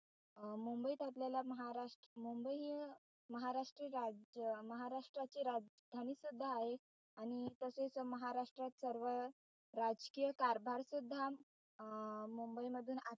अं मुंबईत आपल्याला महाराष्ट्र मुंबई महाराष्ट्रीय राज्य महाराष्ट्राची राजधानी सुद्धा आहे आणि तसेच महाराष्ट्रात सर्व राजकीय कारभार सुद्धा अं मुंबईमधून आत,